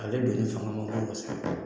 A ale don sɔn ka ma kɔ sa